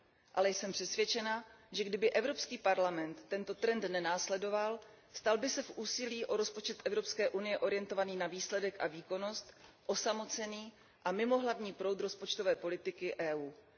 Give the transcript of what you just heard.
Ale jsem přesvědčena, že kdyby Evropský parlament tento trend nenásledoval, stal se by se v úsilí o rozpočet Evropské unie orientovaný na výsledek a výkonnost osamocený a mimo hlavní proud rozpočtové politiky Evropské unie.